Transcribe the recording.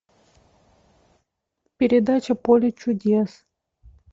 передача поле чудес